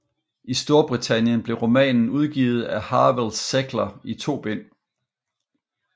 I Storbritannien blev romanen udgivet af Harvill Secker i to bind